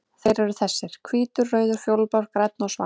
Þeir eru þessir: Hvítur, rauður, fjólublár, grænn og svartur.